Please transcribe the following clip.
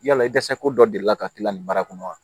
Yala i dɛsɛko dɔ delila ka k'i la nin baara kɔnɔ wa